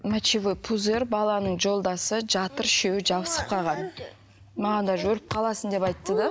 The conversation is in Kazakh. мочевой пузырь баланың жолдасы жатыр үшеуі жабысып қалған маған даже өліп қаласың деп айтты да